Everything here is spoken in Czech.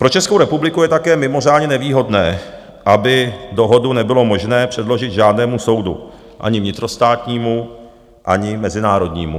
Pro Českou republiku je také mimořádně nevýhodné, aby dohodu nebylo možné předložit žádnému soudu - ani vnitrostátnímu, ani mezinárodnímu.